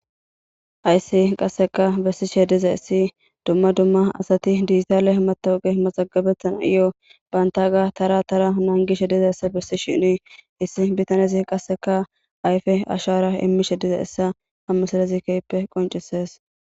Hayssi qassika bessishe dizayssi dumma dumma asathi dijithale maththooqe mazaggabeththanayyoo banththaagaa tharaa tharaa nanggishe dizayssa bessishiini isssi bithanezi qassika ayfe ashaara immishe dizayssa ha misilezi keehippe qonccissees.